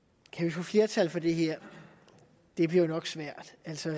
få flertal for det her det bliver jo nok svært